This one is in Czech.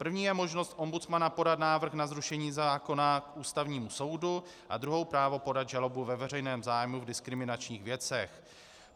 První je možnost ombudsmana podat návrh na zrušení zákona k Ústavnímu soudu a druhou právo podat žalobu ve veřejném zájmu v diskriminačních věcech.